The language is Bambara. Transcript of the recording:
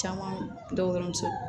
Caman dɔ dɔrɔn